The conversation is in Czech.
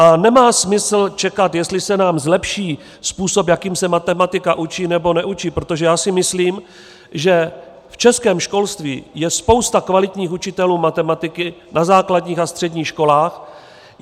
A nemá smysl čekat, jestli se nám zlepší způsob, jakým se matematika učí, nebo neučí, protože já si myslím, že v českém školství je spousta kvalitních učitelů matematiky na základních a středních školách.